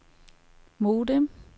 modem